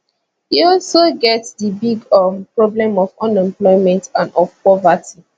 e also get di big um problem of unemployment and of poverty